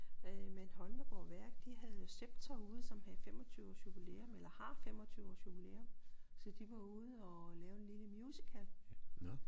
Men Holmegaard Værk de havde jo Sceptor ude som havde 25 års jubilæum eller har 25 års jubilæum så de var ude og lave en lille musical